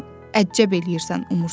Lap əcəb eləyirsən umursan.